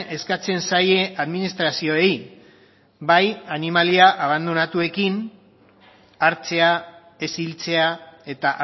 eskatzen zaie administrazioei bai animalia abandonatuekin hartzea ez hiltzea eta